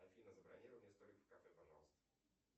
афина забронируй мне столик в кафе пожалуйста